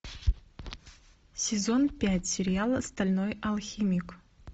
сезон пять сериала стальной алхимик